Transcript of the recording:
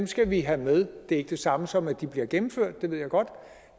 skal vi have med det er ikke det samme som at de bliver gennemført det ved jeg godt